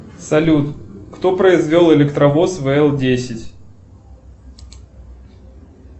салют кто произвел электровоз вл десять